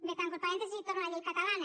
bé tanco el parèntesi i torno a la llei catalana